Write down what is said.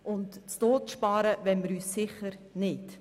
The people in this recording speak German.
Zu Tode sparen wollen wir uns sicher nicht.